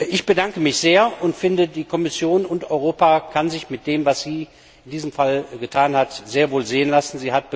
Ich bedanke mich sehr und finde, die Kommission und Europa können sich mit dem, was sie in diesem Fall getan haben, sehr wohl sehen lassen.